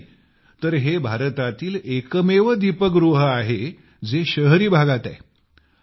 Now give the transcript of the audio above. इतकेच नाही तर हे भारतातील एकमेव दीपगृह आहे जे शहरी भागात आहे